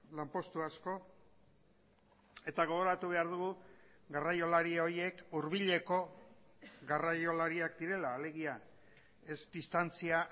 lanpostu asko eta gogoratu behar dugu garraiolari horiek hurbileko garraiolariak direla alegia ez distantzia